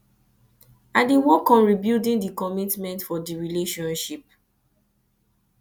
i dey work on rebuilding di commitment for di relationship